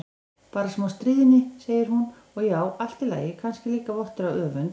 Bara smá stríðni, segir hún, og já, allt í lagi, kannski líka vottur af öfund.